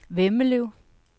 Vemmelev